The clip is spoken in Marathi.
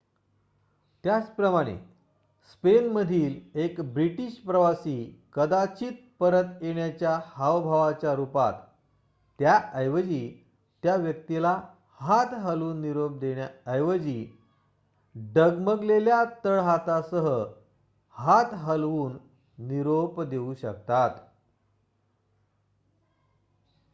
त्याचप्रमाणे स्पेनमधील एक ब्रिटिश प्रवासी कदाचित परत येण्याच्या हावभावाच्या रूपात त्याऐवजी त्या व्यक्तीला हात हलवून निरोप देण्या ऐवजी डगमगलेल्या तळहातासह हात हलवून निरोप देऊ शकतात